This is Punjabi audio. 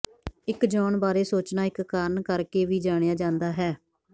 ਇੱਕ ਜੌਨ ਬਾਰੇ ਸੋਚਣਾ ਇੱਕ ਕਾਰਨ ਕਰਕੇ ਵੀ ਜਾਣਿਆ ਜਾਂਦਾ ਹੈ